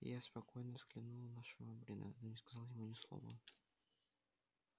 я спокойно взглянул на швабрина но не сказал ему ни слова